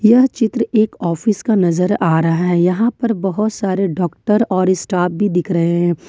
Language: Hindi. यह चित्र एक ऑफिस का नजर आ रहा है यहां पर बहुत सारे डॉक्टर और स्टाफ भी दिख रहे हैं।